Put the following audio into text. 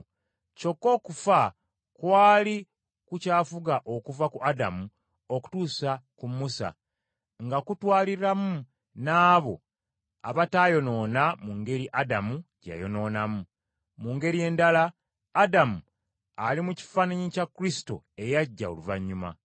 Kyokka okufa kwali kukyafuga okuva ku Adamu okutuusa ku Musa, nga kutwaliramu n’abo abataayonoona mu ngeri Adamu gye yayonoonamu. Mu ngeri endala, Adamu ali mu kifaananyi kya Kristo eyajja oluvannyuma.